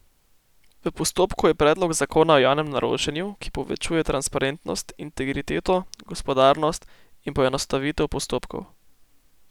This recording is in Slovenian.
V postopku je predlog zakona o javnem naročanju, ki povečuje transparentnost, integriteto, gospodarnost in poenostavitev postopkov.